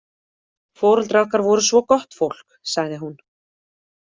Foreldrar okkar voru svo gott fólk, sagði hún.